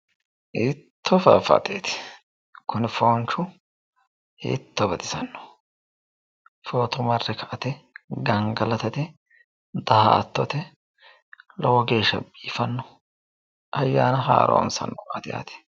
Hiittoo faaffateeti kuni foonchu hiitto baxisanno footo marre ka"ate gangalatate daa"atote lowo geeshsha biifanno ayyaana haaroonsannowaati yaate